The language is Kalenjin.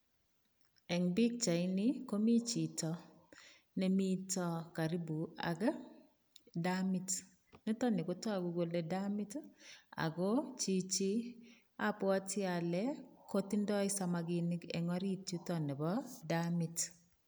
Eng pichaini komi chito ne mito karipuak damit. Nitok ni kotagu kole damat ii ago chichi abwoti ale kotindoi samaginik eng orit yuto nebo damit.